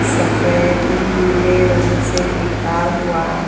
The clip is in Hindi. सफेद नीले रंग से लिखा हुआ--